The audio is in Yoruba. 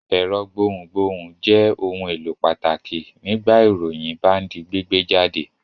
Ẹ̀rọ gbohùngbohùn jẹ́ ohun-èlò pàtàkì nígbà ìròyìn bá ń di gbígbé jáde.